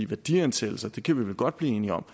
værdiansættelsen kan vi godt blive enige om